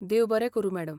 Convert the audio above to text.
देव बरें करूं मॅडम.